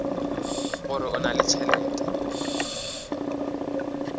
gore o na le tšhelete